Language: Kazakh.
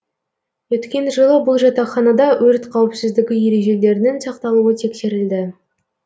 өткен жылы бұл жатақханада өрт қауіпсіздігі ережелерінің сақталуы тексерілді